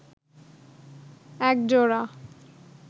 এক জোড়া